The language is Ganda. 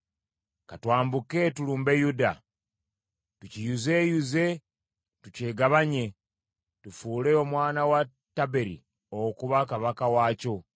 ‘Ka twambuke tulumbe Yuda, tukiyuzeeyuze tukyegabanye, tufuule omwana wa Tabeeri okuba kabaka waakyo.’